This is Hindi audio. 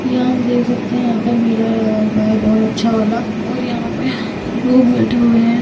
यह हम देख सकते है यहा पर मेला लगा हुआ है बहुत अच्छा वाला और यहा पे लोग बैठे हुए हैं।